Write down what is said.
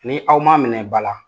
Ni aw ma minɛ ba la,